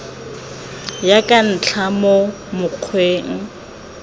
ya ka dintlha mo mokgweng